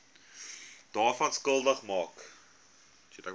daaraan skuldig maak